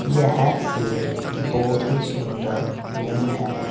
यह एक बहुत ही सुंदर रूम है।